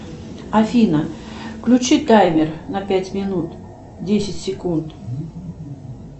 афина включи таймер на пять минут десять секунд